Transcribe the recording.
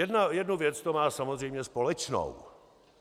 Jednu věc to má samozřejmě společnou.